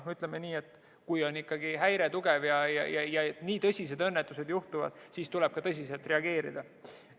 Ütleme nii, et kui on tugev häire ja nii tõsised õnnetused juhtuvad, siis tuleb ka tõsiselt reageerida.